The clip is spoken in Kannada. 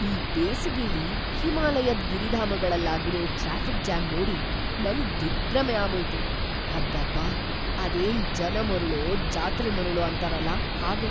ಈ ಬೇಸಿಗೆಲಿ ಹಿಮಾಲಯದ್ ಗಿರಿಧಾಮಗಳಲ್ಲಾಗಿರೋ ಟ್ರಾಫಿಕ್‌ ಜಾಮ್‌ ನೋಡಿ ನಂಗ್‌ ದಿಗ್ಭ್ರಮೆ ಆಗೋಯ್ತು. ಅಬ್ಬಬ್ಬಾ! ಅದೇನ್‌ ಜನ ಮರುಳೋ ಜಾತ್ರೆ ಮರುಳೋ ಅಂತಾರಲ ಹಾಗೆ!